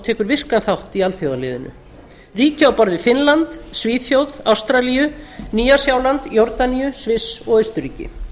tekur virkan þátt í alþjóðaliðinu ríki á borð við finnland svíþjóð ástralíu nýja sjáland jórdaníu sviss og austurríki